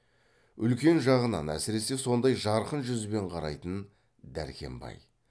үлкен жағынан әсіресе сондай жарқын жүзбен қарайтын дәркембай